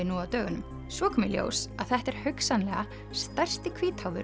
nú á dögunum svo kom í ljós að þetta er hugsanlega stærsti